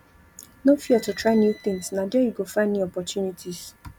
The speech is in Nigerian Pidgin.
no fear to try new tins na there you go find new opportunities